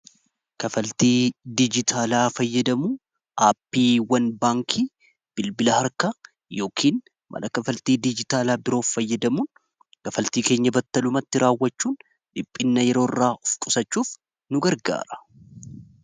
kafaltii diijitaalaa fayyadamu aappiiwwan baankii bilbila harkaa yookiin mala kafaltii diijitaalaa biroof fayyadamuun kafaltii keenya battalumatti raawwachuun dhiphina yeroo irraa of qusachuuf nu gargaara